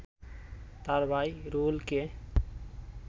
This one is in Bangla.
তার ভাই রুহুলকে